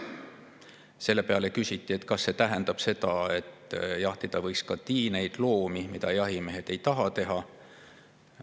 Selle peale küsiti, kas see tähendab, et jahtida võiks ka tiineid loomi, mida jahimehed teha ei taha.